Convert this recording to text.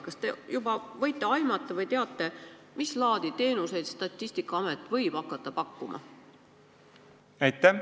Kas te võite aimata või teate, mis laadi teenuseid Statistikaamet võib hakata pakkuma?